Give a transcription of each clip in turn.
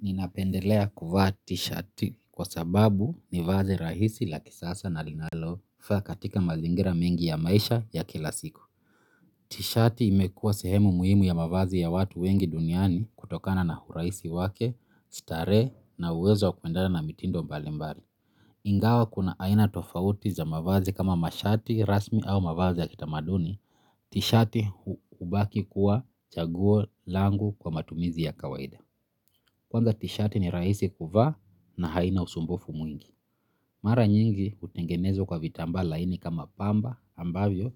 Ninapendelea kuvaa t-shirt kwasababu ni vazi rahisi la kisasa na linalofaa katika mazingira mengi ya maisha ya kila siku T-shirt imekua sehemu muhimu ya mavazi ya watu wengi duniani kutokana na urahisi wake, starehe na uwezo kuendana na mitindo mbalimbali. Ingawa kuna aina tofauti za mavazi kama mashati rasmi au mavazi ya kitamaduni, t-shirt hubaki kuwa chaguo langu kwa matumizi ya kawaida. Kwanza tshirt ni rahisi kuvaa na haina usumbufu mwingi. Mara nyingi hutengenezwa kwa vitambaa laini kama pamba ambavyo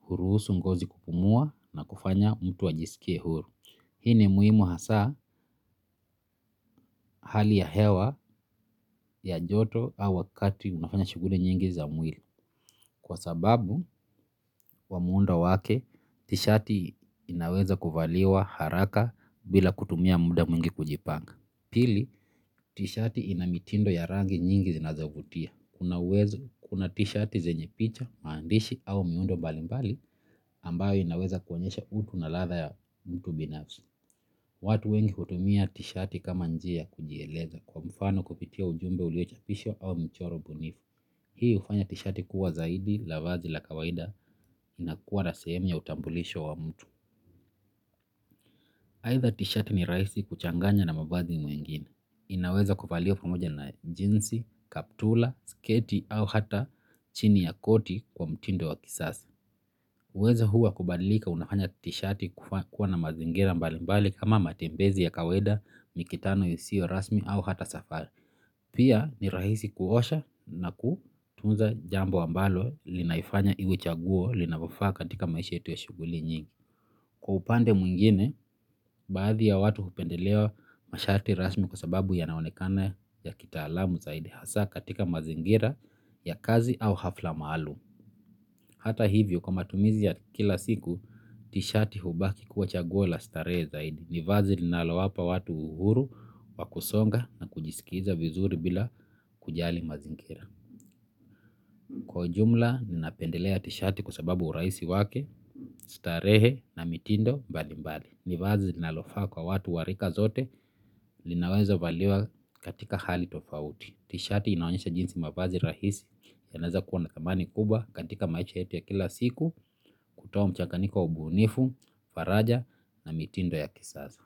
huruhusu ngozi kupumua na kufanya mtu ajisikie huru. Hii ni muhimu hasa hali ya hewa ya joto au wakati unafanya shughuli nyingi za mwili. Kwa sababu ya muundo wake tishirt inaweza kuvaliwa haraka bila kutumia muda mwingi kujipanga. Pili, tshirt ina mitindo ya rangi nyingi zinazovutia. Kuna uwezo kuna tshirt zenye picha, maandishi au miundo mbalimbali ambayo inaweza kuonyesha utu na ladha ya mtu binafsi. Watu wengi kutumia tshirt kama njia ya kujieleza kwa mfano kupitia ujumbe uliochapishwa au mchoro ubunifu. Hii hufanya tshirt kuwa zaidi la vazi, la kawaida inakuwa na sehemu ya utambulisho wa mtu. Aidha t-shirt ni rahisi kuchanganya na mavazi mengine. Inaweza kuvaliwa pamoja na jeans, kaptula, sketi au hata chini ya koti kwa mtindo wa kisasa. Uwezo huu wa kubalika unafanya t-shirt kuwa na mazingira mbali mbali kama matembezi ya kawaida, mikutano isiyo rasmi au hata safari. Pia ni rahisi kuosha na kutunza jambo ambalo linaifanya iwe chaguo linafaa katika maisha yetu ya shughuli nyingi. Kwa upande mwingine, baadhi ya watu hupendelea mashati rasmi kwa sababu yanaonekana ya kitaalamu zaidi hasa katika mazingira ya kazi au hafla maalum. Hata hivyo, kwa matumizi ya kila siku, t-shirt hubaki kuwa chaguo la starehe zaidi. Ni vazi linalo wapa watu uhuru, wakusonga na kujisikiza vizuri bila kujali mazingira. Kwa ujumla, ninapendelea tshirt kwa sababu urahisi wake, starehe na mitindo mbali mbali. Ni vazi linalofaa kwa watu wa rika zote linaweza valiwa katika hali tofauti t-shirt inaonyesha jinsi mavazi rahisi yanaweza kuwa na thamani kubwa katika maisha yetu ya kila siku kutoa mchanyanyiko ubunifu faraja na mitindo ya kisasa.